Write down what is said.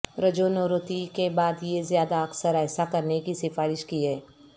رجونورتی کے بعد یہ زیادہ اکثر ایسا کرنے کی سفارش کی ہے